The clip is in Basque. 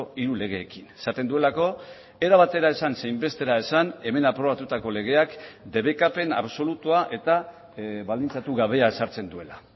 hiru legeekin esaten duelako era batera esan zein bestera esan hemen aprobatutako legeak debekapen absolutua eta baldintzatu gabea ezartzen duela